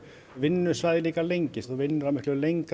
vinnusvæðið líka lengist þú vinnur á lengra